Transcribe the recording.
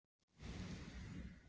Hann settist á rúmstokkinn hjá henni.